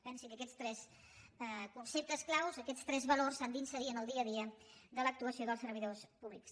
pensi que aquests tres conceptes claus aquests tres valors s’han d’inserir en el dia a dia de l’actuació dels servidors públics